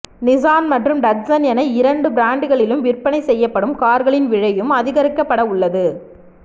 Nissan மற்றும் Datsun என இரண்டு பிராண்டுகளில் விற்பனை செய்யப்படும் கார்களின் விலையும் அதிகரிக்கப்பட உள்ளது